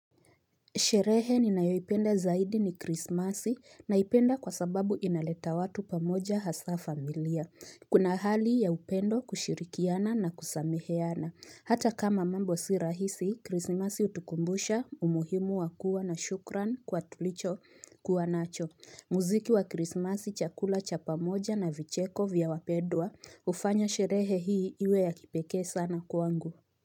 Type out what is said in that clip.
Sherehe ni nayoipenda zaidi ni krismasi naipenda kwa sababu inaleta watu pamoja hasa familia. Kuna hali ya upendo kushirikiana na kusameheana. Hata kama mambo si rahisi, krismasi hutukumbusha, umuhimu wakuwa na shukran kwa tulicho kuwa nacho. Muziki wa krismasi chakula cha pamoja na vicheko vya wapedwa hufanya sherehe hii iwe ya kipeke sana kuangu.